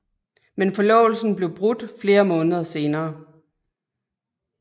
Men forlovelsen blev brudt flere måneder senere